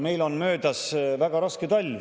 Meil on möödas väga raske talv.